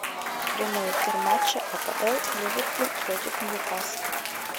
прямой эфир матча апл ливерпуль против ньюкасла